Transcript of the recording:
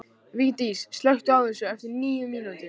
Vigdís, slökktu á þessu eftir níu mínútur.